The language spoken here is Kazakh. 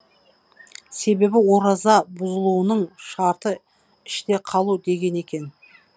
себебі ораза бұзылуының шарты іште қалу деген екен